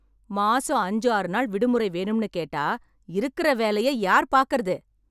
மாசம் அஞ்சாறு நாள் விடுமுறை வேணும்னு கேட்டா, இருக்கற வேலைய யார் பாக்கறது?